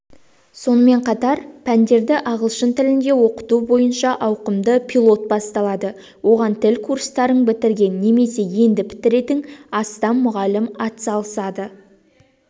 сонымен қатар пәндерді ағылшын тілінде оқыту бойынша ауқымды пилот басталады оған тіл курстарын бітірген немесе енді бітіретін астам мұғалім атсалысады